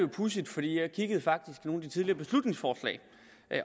pudsigt for jeg kiggede faktisk i nogle af de tidligere beslutningsforslag